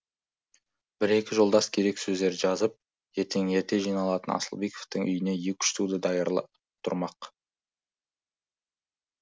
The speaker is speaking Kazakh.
бір екі жолдас керек сөздерді жазып ертең ерте жиналатын асылбековтың үйіне екі үш туды даярлап тұрмақ